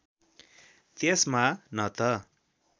त्यसमा न त